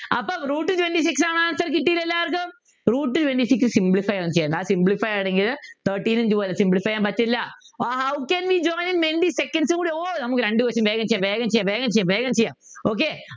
അപ്പൊ Root twenty six ആണ് answer കിട്ടീലെ എല്ലാർക്കും Root twenty six simplify ഒന്നും ചെയ്യണ്ട simplify ചെയ്യാനെങ്കിലും thirteen ഉം two ആ വരുക simplify ചെയ്യാൻ പറ്റില്ല ah how can we join ഓ നമുക്ക് രണ്ടു question വേഗം ചെയ്യാം വേഗം ചെയ്യാം വേഗം ചെയ്യാം വേഗം ചെയ്യാം okay